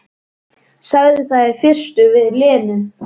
Sagði það í fyrstu við Lenu.